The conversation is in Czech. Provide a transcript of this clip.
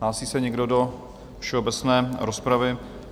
Hlásí se někdo do všeobecné rozpravy?